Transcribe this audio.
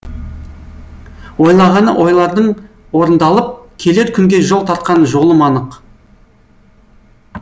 ойлағаны ойлардың орындалып келер күнге жол тартқан жолым анық